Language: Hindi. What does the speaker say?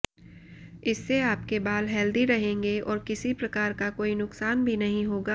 इससे आपके बाल हेल्दी रहेंगे और किसी प्रकार का कोई नुकसान भी नहीं होगा